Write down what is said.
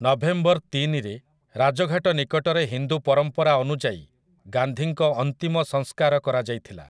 November ତିନି ରେ ରାଜ ଘାଟ ନିକଟରେ ହିନ୍ଦୁ ପରମ୍ପରା ଅନୁଯାୟୀ ଗାନ୍ଧୀଙ୍କ ଅନ୍ତିମ ସଂସ୍କାର କରାଯାଇଥିଲା ।